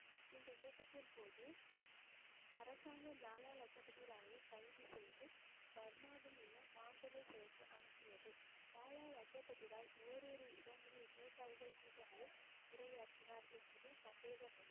இந்த இயக்கத்தின்போது அரசாங்கம் லாலா லஜபதி ராயை கைது செய்து பர்மாவில் உள்ள மாண்டலே சிறைக்கு அனுப்பியது. லாலா லஜபதி ராய், ஓரிரு இடங்களில் விவசாயிகள் கூட்டங்களில் உரையாற்றினார் என்பதில் சந்தேகமில்லை